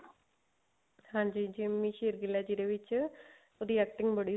ਹਾਂਜੀ ਜਿੰਮੀ ਸ਼ੇਰਗਿੱਲ ਆ ਜਿਹਦੇ ਵਿੱਚ ਉਹਦੀ acting